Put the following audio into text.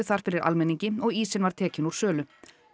þar fyrir almenningi og ísinn var tekinn úr sölu